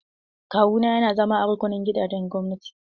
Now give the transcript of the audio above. Kawu na yana zama a rukunin gidajen gwamnati.